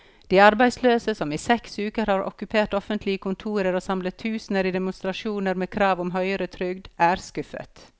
De arbeidsløse, som i seks uker har okkupert offentlige kontorer og samlet tusener i demonstrasjoner med krav om høyere trygd, er skuffet.